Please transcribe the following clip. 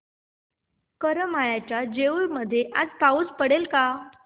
करमाळ्याच्या जेऊर मध्ये आज पाऊस पडेल का